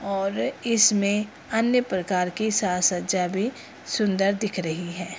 और इसमें अन्य प्रकार की साज-सज्जा भी सुन्दर दिख रही है।